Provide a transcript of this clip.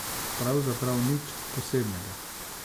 Pravzaprav nič posebnega.